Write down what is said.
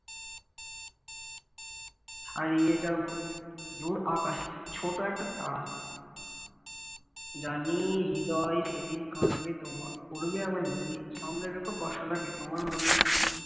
হারিয়ে যাব দূর আকাশে ছোট একটা তারা জানি হৃদয় সেদিন কাঁদবে তোমায় পড়বে আমায় মনে সামনে রেখো কষ্টটা কি তোমার মনের করি